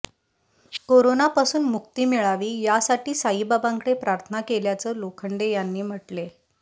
कोरोनापासून मुक्ती मिळावी यासाठी साईबाबांकडे प्रार्थना केल्याचं लोखंडे यांनी म्हटले